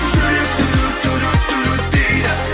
жүрек дейді